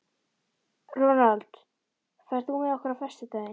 Ronald, ferð þú með okkur á föstudaginn?